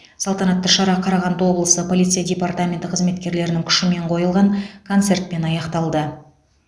салтанаты шара қарағанды облысы полиция департаменті қызметкерлерінің күшімен қойылған концертпен аяқталды